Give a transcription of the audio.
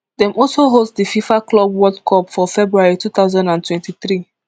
dem also host di fifa club world cup for february two thousand and twenty-three